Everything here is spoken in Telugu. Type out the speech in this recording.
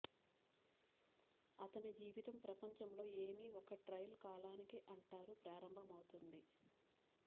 అతని జీవితం ప్రపంచంలో ఏమి ఒక ట్రయల్ కాలానికి అంటారు ప్రారంభమవుతుంది